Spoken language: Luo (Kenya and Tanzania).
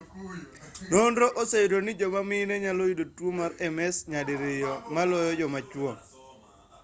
nonro oseyudo ni joma mime nyalo yudo tuo mar ms nyadiriyo maloyo joma chuo